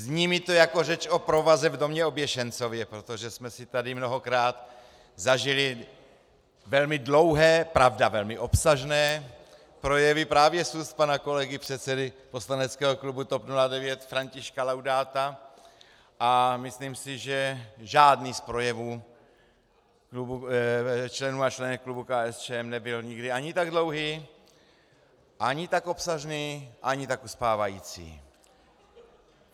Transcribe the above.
Zní mi to jako řeč o provaze v domě oběšencově, protože jsme si tady mnohokrát zažili velmi dlouhé, pravda, velmi obsažné projevy právě z úst pana kolegy předsedy poslaneckého klubu TOP 09 Františka Laudáta a myslím si, že žádný z projevů členů a členek klubu KSČM nebyl nikdy ani tak dlouhý, ani tak obsažný, ani tak uspávající.